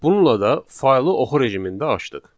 Bununla da faylı oxu rejimində açdıq.